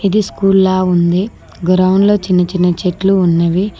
ఇది స్కూల్ లా ఉంది గ్రౌండ్లో చిన్న చిన్న చెట్లు ఉన్నవి.